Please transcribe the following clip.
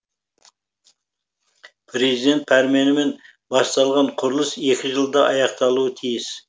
президент пәрменімен басталған құрылыс екі жылда аяқталуы тиіс